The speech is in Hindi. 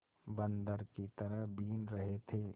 बंदर की तरह बीन रहे थे